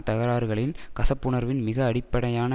தகராறுகளின் கசப்புணர்வின் மிக அடிப்படையான